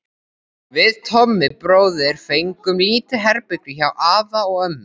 Við Tommi bróðir fengum lítið herbergi hjá afa og ömmu.